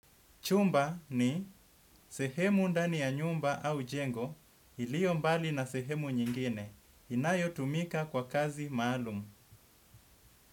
Chumba ni sehemu ndani ya nyumba au jengo iliyo mbali na sehemu nyingine inayo tumika kwa kazi maalumu.